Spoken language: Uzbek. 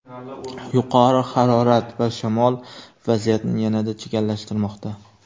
Yuqori harorat va shamol vaziyatni yanada chigallashtirmoqda.